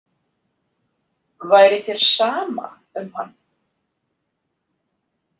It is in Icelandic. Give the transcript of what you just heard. Væri þér sama um hann?